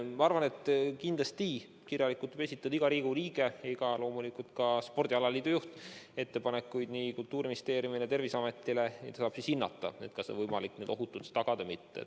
Ma arvan, et kindlasti võib iga Riigikogu liige ja loomulikult ka spordialaliidu juht esitada kirjalikult ettepanekuid nii Kultuuriministeeriumile kui ka Terviseametile, kes saavad hinnata, kas on võimalik neid ohutult arvestada või mitte.